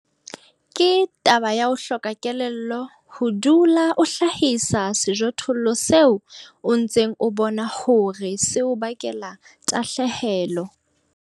Ke taba ya ho hloka kelello ho dula o hlahisa sejothollo seo o ntseng o bona hore se o bakela tahlehelo.